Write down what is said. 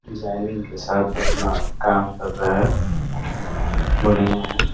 Designing के साथ अपना काम कर रहा है। बढ़िया हैं।